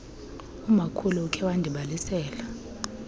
umakhulu ukhe andibalisele